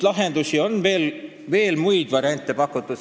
Lahendustena on veel muidki variante pakutud.